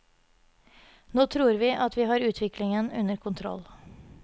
Nå tror vi at vi har utviklingen under kontroll.